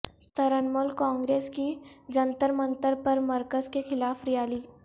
ترنمول کانگریس کی جنتر منتر پر مرکز کے خلاف ریالی